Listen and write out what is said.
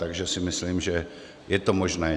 Takže si myslím, že je to možné.